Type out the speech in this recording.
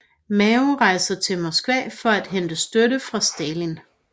Mao rejser til Moskva for at hente støtte fra Stalin